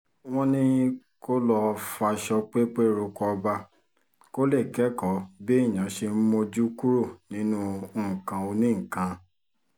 wọ́n ní kó lọo faṣọ pépé roko ọba kó lè kẹ́kọ̀ọ́ béèyàn ṣe ń mójú kúrò nínú nǹkan oní-nǹkan